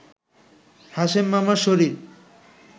হাশেম মামার শরীর